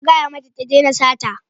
Ka gaya mata ta daina sata.